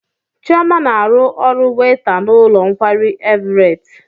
Chioma na-arụ ọrụ weyta n'ụlọ nkwari Everet.